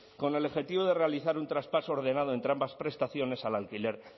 con el objetivo de realizar un traspaso ordenado entre ambas prestaciones al alquiler